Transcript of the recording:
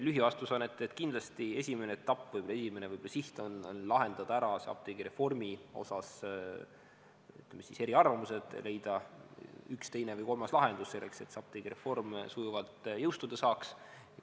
Lühivastus on, et kindlasti esimene etapp või esimene võib-olla siht on lahendada ära apteegireformiga seotud, ütleme, eriarvamused, leida üks, teine või kolmas lahendus selleks, et apteegireform sujuvalt jõustuda saaks.